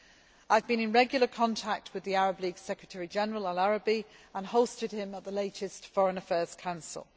I have been in regular contact with the Arab League Secretary General, al Araby and hosted him at the latest Foreign Affairs Council.